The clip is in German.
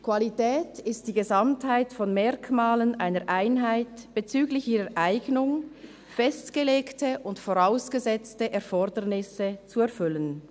«Qualität ist die Gesamtheit von Merkmalen einer Einheit bezüglich ihrer Eignung, festgelegte und vorausgesetzte Erfordernisse zu erfüllen.